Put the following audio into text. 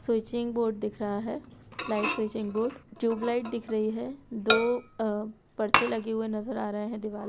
switching board दिख रहा है ट्यूबलाइट स्विचिंग बोर्ड ट्यूबलाइट दिख रही हैं दो पर्चे नजर आ रहे हैं देवाल पे ----